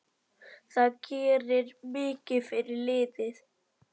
Það gerir mikið fyrir liðið.